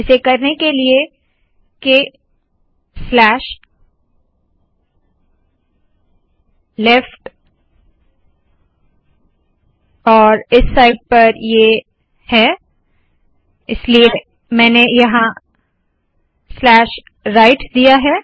इसे करने के लिए क स्लैश लेफ्ट क स्लैश लेफ्ट और इस साइड पर ये है इसलिए मैंने यहाँ स्लैश राइट दिया है